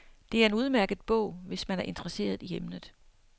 Det er en udmærket bog, hvis man er interesseret i emnet.